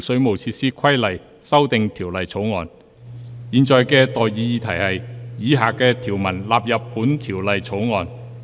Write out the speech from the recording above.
我現在向各位提出的待議議題是：以下條文納入本條例草案。